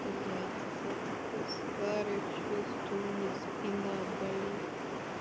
блять я себя такой старой чувствую у меня спина болит